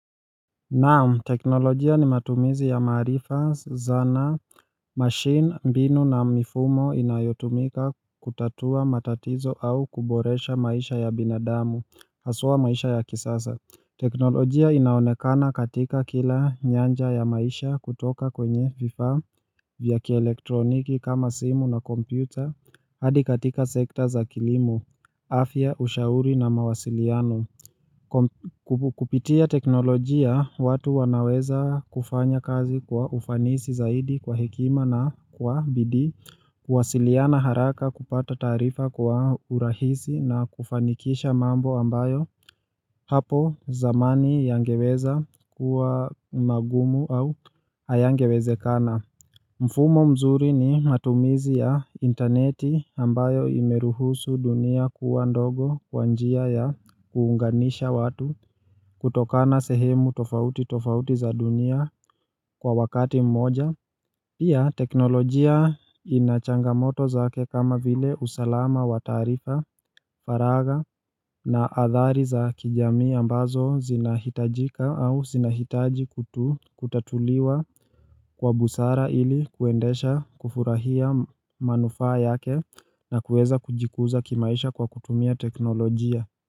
Naam, teknolojia ni matumizi ya maarifa, zana, machine, mbinu na mifumo inayotumika kutatua matatizo au kuboresha maisha ya binadamu, haswa maisha ya kisasa teknolojia inaonekana katika kila nyanja ya maisha kutoka kwenye vifa, vyakielektroniki kama simu na kompyuta, hadi katika sekta za kilimu, afya, ushauri na mawasiliano Kupitia teknolojia watu wanaweza kufanya kazi kwa ufanisi zaidi kwa hekima na kwa bidii kuwasiliana haraka kupata taarifa kwa urahisi na kufanikisha mambo ambayo hapo zamani yangeweza kuwa magumu au ayangewezekana mfumo mzuri ni matumizi ya intaneti ambayo imeruhusu dunia kuwa ndogo kwa njia ya kuunganisha watu kutokana sehemu tofauti tofauti za dunia kwa wakati mmoja Pia teknolojia ina changamoto zake kama vile usalama wa taarifa faraga na athari za kijamii ambazo zinahitajika au zinahitaji kutatuliwa kwa busara ili kuendesha kufurahia manufaa yake na kueza kujikuza kimaisha kwa kutumia teknolojia.